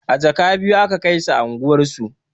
A jaka biyu aka kaisa unguwar su